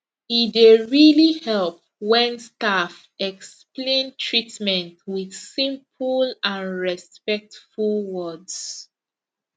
e dey really help when staff explain treatment with simple and respectful words